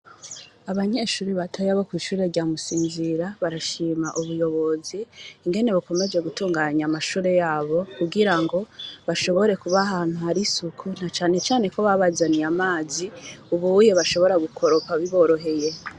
Abanyeshuri misiri yose imbere yo gutangura imirimobgutangura kwiga canke kwigisha batigerezwa gutonda imbere y'ibendera bakaduza ibendera gigihugu c'uburundi imbere gukora igikuwa na kinwe cose bose bakaruririmba bajegururirimba ni ho abacababona gutangura imirimo y'aba emisiri yose.